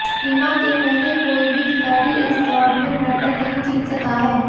हिमा के पहले कोई भी खिलाड़ी इस दौड़ में मेडल नहीं जीत सका है